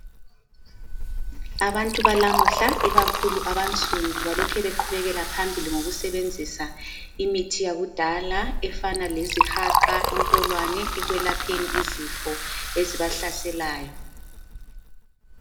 Abantu balamuhla ikakhulu abansundu balokhe beqhubekela phambili ngokubenzisa imithi yakudala efana lezihaqa, intolwane ekwelapheni izifo ezibahlaselayo.